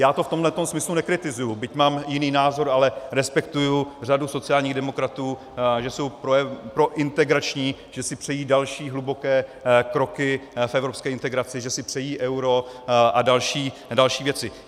Já to v tomto smyslu nekritizuji, byť mám jiný názor, ale respektuji řadu sociálních demokratů, že jsou prointegrační, že si přejí další hluboké kroky v evropské integraci, že si přejí euro a další věci.